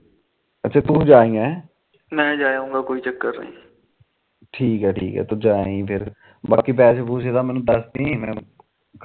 ਠੀਕੇ ਠੀਕੇ ਤੂੰ ਜਾਏ ਆਈ ਫਿਰ ਬਾਕੀ ਪੈਸੇ ਪੂਸੇ ਦਾ ਮੈਨੂੰ ਦਸਦੀ